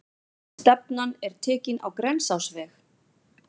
Stefnan er tekin á Grensásveg.